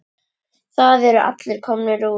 Það eru allir komnir út.